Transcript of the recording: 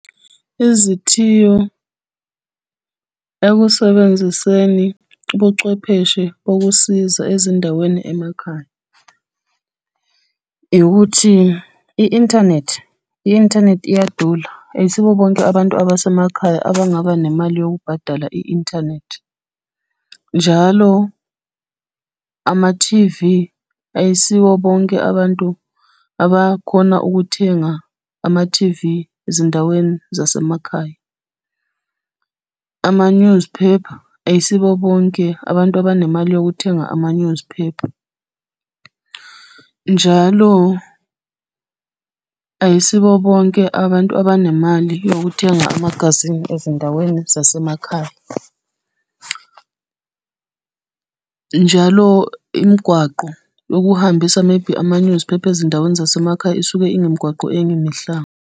Izithiyo ekusebenziseni ubuchwepheshe bokusiza ezindaweni emakhaya. Ukuthi i-inthanethi i-inthanethi iyadula ayisibo bonke abantu basemakhaya abangaba nemali yokubhadala i-inthanethi. Njalo, ama-T_V, ayisibo bonke abantu abakhona ukuthenga ama-T_V ezindaweni zasemakhaya. Ama-newspaper, ayisibo bonke abantu abanemali yokuthenga ama-newspaper. Njalo, ayisibo bonke abantu abanemali yokuthenga amagazini ezindaweni zasemakhaya. Njalo imigwaqo yokuhambisa maybe ama-newspaper ezindaweni zasemakhaya, isuke ingemgwaqo engemihlanga.